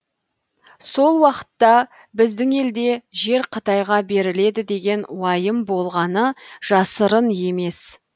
сол уақытта біздің елде жер қытайға беріледі деген уайым болғаны жасырын емес